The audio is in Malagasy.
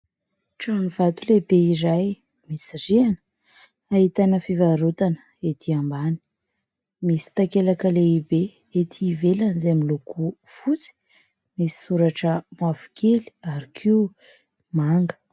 Trano vato lehibe izay misy rihana, ahitana fivarotana etỳ ambany. Misy takelaka lehibe ety ivelany, izay miloko fotsy misy soratra mavokely ary koa manga.